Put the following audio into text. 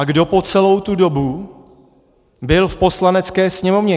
A kdo po celou tu dobu byl v Poslanecké sněmovně?